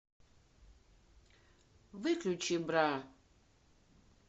выключи бра